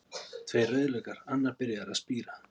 Tveir rauðlaukar, annar byrjaður að spíra.